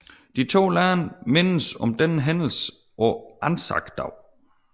De to lande mindes denne hændelse på ANZAC Dag